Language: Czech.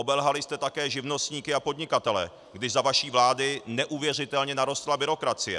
Obelhali jste také živnostníky a podnikatele, kdy za vaší vlády neuvěřitelně narostla byrokracie.